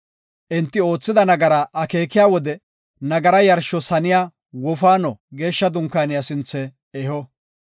Enti oothida nagaraa akeekiya wode nagara yarshos haniya wofaano Geeshsha Dunkaaniya sinthe eho.